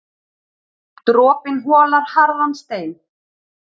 Dropinn holar harðan stein.